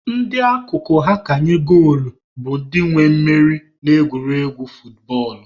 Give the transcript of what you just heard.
Ndị akụkụ ha ka nye goolu bụ ndị nwe mmeri na egwuregwu futbọọlụ.